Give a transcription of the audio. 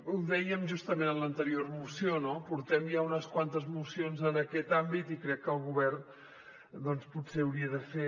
ho dèiem justament en l’anterior moció no portem ja unes quantes mocions en aquest àmbit i crec que el govern potser hauria de fer